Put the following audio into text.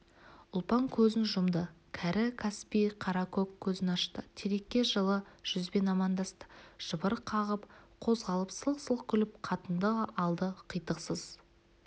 ұлпан көзін жұмды кәрі каспий қара көк көзін ашты терекке жылы жүзбен амандасты жыбыр қағып қозғалып сылқ-сылқ күліп қатынды алды қитықсыз